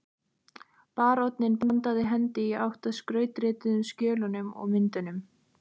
Baróninn bandaði hendi í átt að skrautrituðu skjölunum og myndunum